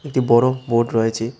একটি বড়ো বোর্ড রয়েছে।